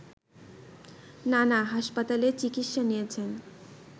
নানা হাসপাতালে চিকিৎসা নিয়েছেন